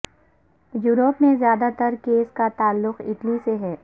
Europe میں زیادہ تر کیسز کا تعلق اٹلی سے ہے